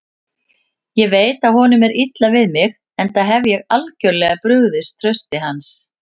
Ég veit að honum er illa við mig, enda hef ég algjörlega brugðist trausti hans.